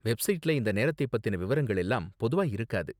வெப்சைட்ல இந்த நேரத்தை பத்தின விவரங்கள் எல்லாம் பொதுவா இருக்காது.